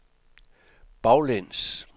baglæns